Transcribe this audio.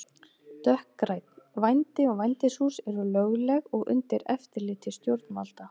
Dökkgrænn: Vændi og vændishús eru lögleg og undir eftirliti stjórnvalda.